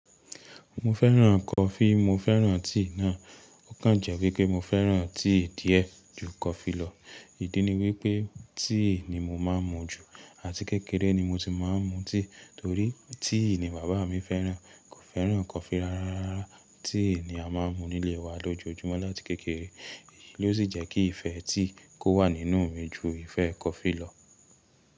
Mo fẹ́ràn coffee, mo fẹ́ràn tíì náà. Ó kàn jẹ wípé mo fẹ́ràn tíì díẹ̀ ju coffee lọ. Ìdí ni wípé tíì ni mo máa ń mu jù, àti kékeré ni mo ti máa ń mu tíì torí tíì ni bàbá mi fẹ́ràn. Kò fẹ́ràn coffee rárá. Tíì ni a máa ń mu nílé wa lójoojúmọ́ láti kékeré. Èyí ló sì jẹ́ kí ìfẹ́ tíì kó wà nínú mi ju ìfẹ́ coffee lọ.